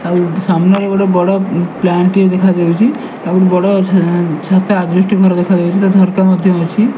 ଆଉ ସାମ୍ନାରେ ଗୋଟେ ବଡ ପ୍ଲାନଟିଏ ଦେଖା ଯାଉଛି ଆଉ ଗୋଟେ ବଡ ଛାତ ଆଜବେଷ୍ଟସ ଘର ମଧ୍ୟ ଅଛି ତାର ଝରକା ମଧ୍ୟ ଅଛି।